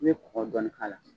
I bɛ kɔkɔ dɔnni k'a la.